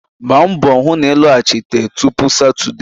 Gbaa mbọ hụ na ị lọghachite tupu Satọdee